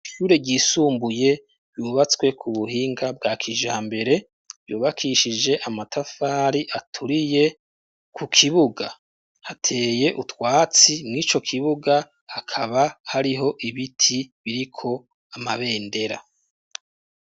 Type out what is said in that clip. Ishure ryisumbuye yubatswe ku buhinga bwa kijambere yubakishije amatafari aturiye ku kibuga hateye utwatsi mu'ico kibuga akaba hariho ibiti biriko amabendera.